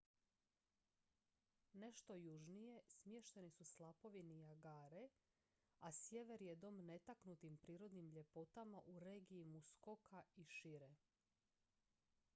nešto južnije smješteni su slapovi niagare a sjever je dom netaknutim prirodnim ljepotama u regiji muskoka i šire